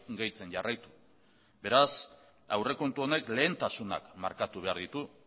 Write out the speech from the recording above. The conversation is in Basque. gehitzen jarraitu beraz aurrekontu honek lehentasunak markatu behar ditu